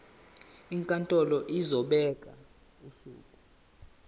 inkantolo izobeka usuku